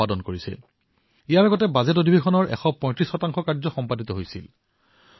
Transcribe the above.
আৰু ইয়াৰ পূৰ্বে বাজেটঅধিৱেশনত প্ৰায় ১৩৫ কাম কৰা হৈছিল